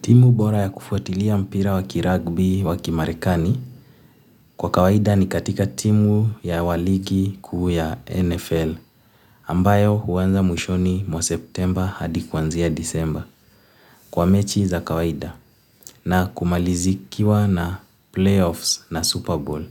Timu bora ya kufuatilia mpira wakiragbi wakimarekani kwa kawaida ni katika timu ya waligi kuu ya NFL ambayo huanza mwishoni mwa September hadi kwanzia December kwa mechi za kawaida na kumalizikiwa na playoffs na Super Bowl